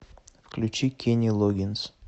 включи кенни логгинс